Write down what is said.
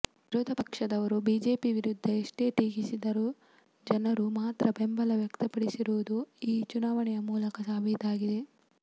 ವಿರೋಧ ಪಕ್ಷದವರು ಬಿಜೆಪಿ ವಿರುದ್ಧ ಎಷ್ಟೇ ಟೀಕಿಸಿದರು ಜನರು ಮಾತ್ರ ಬೆಂಬಲ ವ್ಯಕ್ತಪಡಿಸಿರುವುದು ಈ ಚುನಾವಣೆಯ ಮೂಲಕ ಸಾಬೀತಾಗಿದೆ